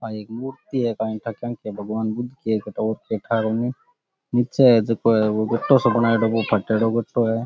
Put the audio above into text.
आ एक मूर्ति है काय ठा क्यांकि है भगवन बुध के नीचे जो गटो है बो फटेडो सो है।